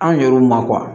An yɛrɛw ma